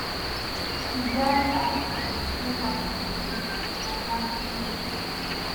she die at di age of 56 for kano state.